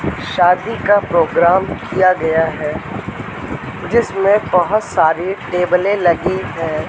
शादी का प्रोग्राम किया गया है जिसमें बहोत सारी टेबलें लगी है।